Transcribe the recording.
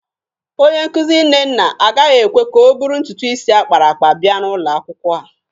Onye nkuzi Nnenna agaghị ekwe ka ọ bụrụ ntutu isi akpara akpa bịa ụlọ akwụkwọ